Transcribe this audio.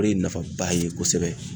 O re ye nafaba ye kosɛbɛ.